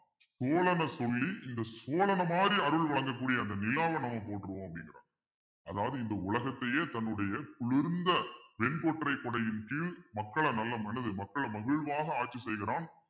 சொல்லி இந்த சோழனை மாறி அருள் வழங்கக் கூடிய அந்த நிலாவை நம்ம போட்டிருவோம் அப்படிங்கிற அதாவது இந்த உலகத்தையே தன்னுடைய குளிர்ந்த வெண்கொற்றை குடையின் கீழ் மக்களை நல்ல மனசு மக்களை மகிழ்வாக ஆட்சி செய்கிறான்